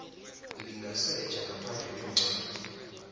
lingasetjha ngaphandle kwencwadi